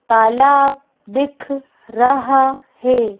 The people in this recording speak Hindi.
तालाब दिख रहा है।